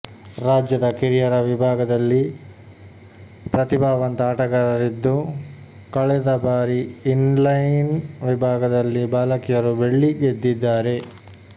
ರಾಜ್ಯದ ಕಿರಿಯರ ವಿಭಾಗದಲ್ಲಿ ಪ್ರತಿಭಾವಂತ ಆಟಗಾರರಿದ್ದು ಕಳೆದ ಬಾರಿ ಇನ್ಲೈನ್ ವಿಭಾಗದಲ್ಲಿ ಬಾಲಕಿಯರು ಬೆಳ್ಳಿ ಗೆದ್ದಿದ್ದಾರೆ